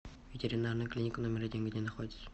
ветеринарная клиника номер один где находится